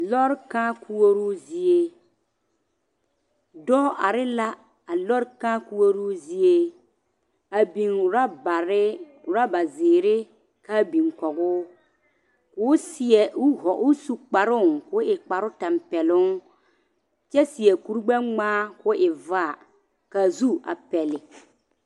Lɔre kãã koɔroo zie, dɔɔ are la a lɔre kãã koɔroo zie a biŋ robare, robazeere k'a biŋ kɔgoo, k'o seɛ o vɔ o su kparoo k'o kpare tɛmpɛloŋ kyɛ seɛ kuri gbɛ-ŋmaa k'o e vaa k'a zu a pɛle.